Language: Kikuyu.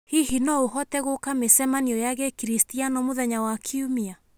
Hihi no ũhote gũka mĩcemanio ya Gĩkristiano mũthenya wa Kiumia?